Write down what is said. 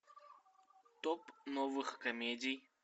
топ новых комедий